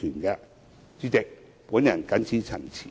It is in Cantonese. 代理主席，我謹此陳辭。